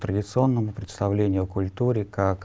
традиционному представлению о культуре как